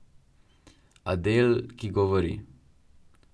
Adel, ki govori.